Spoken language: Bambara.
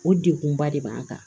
O degun ba de b'an kan